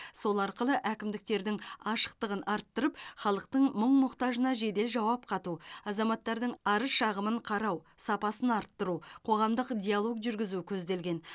сол арқылы әкімдіктердің ашықтығын арттырып халықтың мұң мұқтажына жедел жауап қату азаматтардың арыз шағымын қарау сапасын арттыру қоғамдық диалог жүргізу көзделген